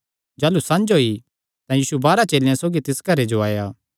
जाह़लू संझ होई तां यीशु बारांह चेलेयां सौगी तिस घरे जो आया